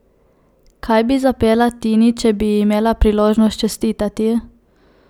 Kaj pa bi zapela Tini, če bi ji imela priložnost čestitati?